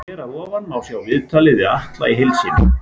Hér að ofan má sjá viðtalið við Atla í heild sinni.